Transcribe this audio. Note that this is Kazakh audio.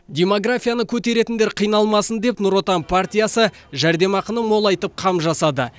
демографияны көтеретіндер қиналмасын деп нұр отан партиясы жәрдемақыны молайтып қам жасады